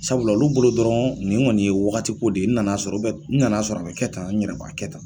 Sabula olu bolo dɔrɔn nin kɔni ye wagati ko de ye n na na sɔrɔ n na na sɔrɔ a bɛ kɛ tan ɲ yɛrɛ b'a kɛ tan.